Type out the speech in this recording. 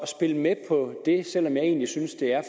spille med på det selv om jeg egentlig synes det er